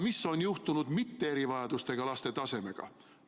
Mis on aga juhtunud ilma erivajadusteta laste tasemega?